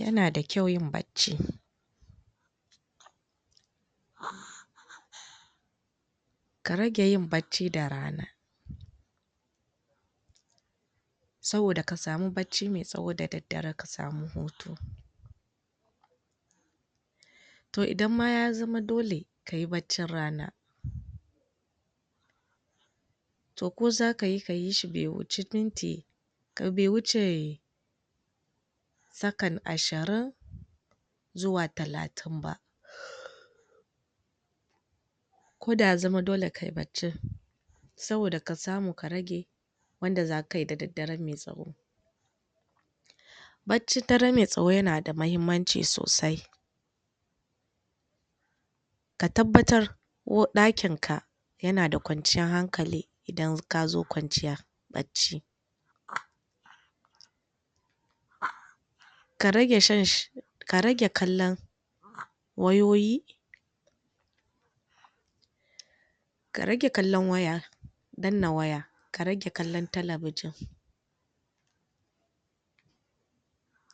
Yanada kyau yin bacci ka rage yin bacci da ran, saboda kasamu bacci ma tsawo da daddare kasamu hutu to idan ma ya zama dole kayi baccin rana to ko zakayi, kayi shi bai wuce minti bai wuce sakan ashirin zuwa talatin ba, koda ya zama dole kayi baccin saboda kasamu ka rage wanda zakayi da daddare mai tsawo baccin dare mai tsawo yanada mahimmanci sosai ka tabbatar uwar ɗakin ka yanada kwanciyar hankali idan kazo kwanciya bacci, ka rage shan ka rage kallan wayoyi ka rage kallon waya danna waya ka rage kallon talabijin,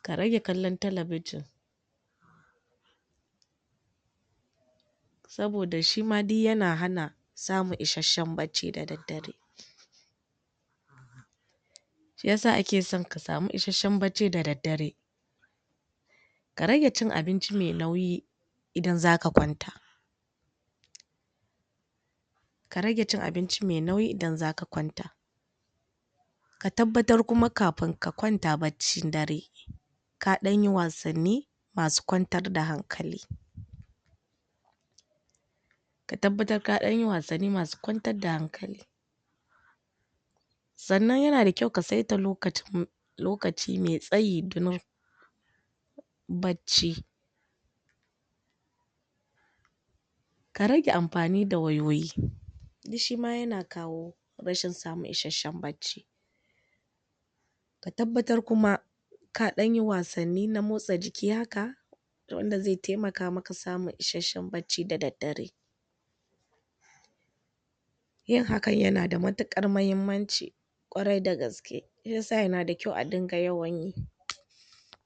ka rage kallon talabijin, saboda shima duk yana hana samun isashin bacci da daddare, shiyasa ake son ka samu isashen bacci da daddare, ka rage chin abinci mai nauyi idan zaka kwanta, ka rage cin abinci mai nauyi idan zaka kwanta, ka tabbatar kuma kafin ka kwanta baccin dare ka danyi wasanni masu kwantar da hankali ka tabbatar ka ɗan yi wasanni masu kwantar da hankali, sannan yana da kyau ka saita lokacin lokaci mai tsayi domin bacci ka rage amfani da wayoyi duk shima yana kawo rashin samun isashen bacci ka tabbatar kuma ka ɗayi wasanni na matsa jiki haka wanda zai taimaka maka wajan samun isashen bacci da daddare yin hakan yanada matuƙar mahimmanci ƙwarai da gaske shiyasa yana da kyau adinga yawan yi